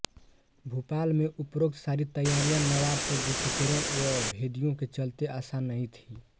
भोपाल में उपरोक्त सारी तैयारियां नवाब के गुप्तचरों व भेदियों के चलते आसान नहीं थीं